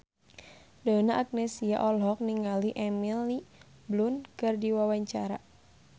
Donna Agnesia olohok ningali Emily Blunt keur diwawancara